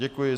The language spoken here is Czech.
Děkuji.